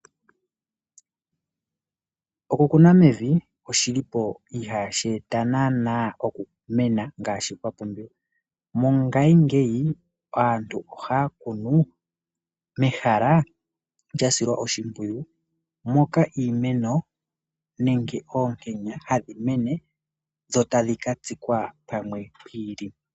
Oku kuna mevi oshilipo ihashi eta nana okumena ngashi kwa pumbiwa. mongashingeyi aantu oha kunu mehala lya silwa oshimwiyu moka imeno nenge onkenya hadhi mene dho tadhi ka tsikwa pamwe pwiili.